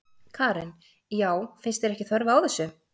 Karen: Já, finnst þér ekki þörf á þessu?